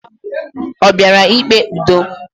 O bịara ikpe ụdọ?